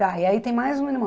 Tá, e aí tem mais um irmão.